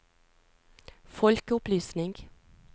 folkeopplysning